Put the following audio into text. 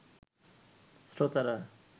শ্রোতারা